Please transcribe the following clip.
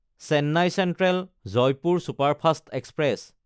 Chennai চেন্ট্ৰেল–জয়পুৰ superfast express